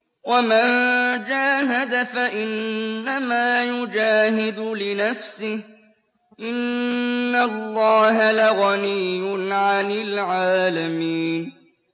وَمَن جَاهَدَ فَإِنَّمَا يُجَاهِدُ لِنَفْسِهِ ۚ إِنَّ اللَّهَ لَغَنِيٌّ عَنِ الْعَالَمِينَ